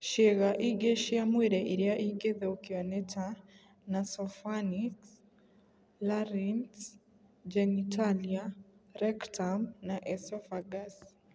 Ciĩga ingĩ cia mwĩrĩ iria ingĩthũkio nĩ ta nasopharnyx, larynx, genitalia, rectum, na esophagus.